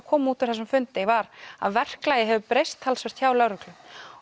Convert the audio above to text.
kom út úr þessum fundi var að verklagið hefur breyst talsvert hjá lögreglu